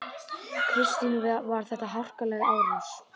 Kristín: Var þetta harkaleg árás?